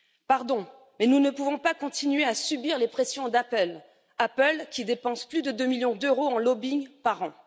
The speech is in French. Pardon, mais nous ne pouvons pas continuer à subir les pressions d'Apple, qui dépense plus de deux millions d'euros en lobbying par an.